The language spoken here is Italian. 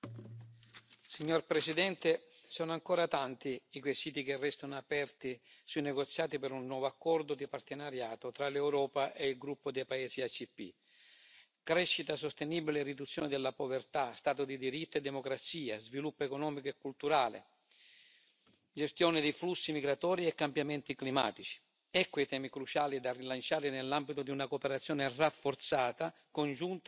Signora Presidente, onorevoli colleghi, sono ancora tanti i quesiti che restano aperti sui negoziati per un nuovo accordo di partenariato tra l'Europa e il gruppo dei paesi ACP. Crescita sostenibile e riduzione della povertà, Stato di diritto e democrazia, sviluppo economico e culturale, gestione dei flussi migratori e cambiamenti climatici ecco i temi cruciali da rilanciare nell'ambito di una cooperazione rafforzata congiunta dopo il